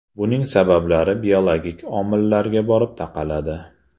Buning sabablari biologik omillarga borib taqaladi.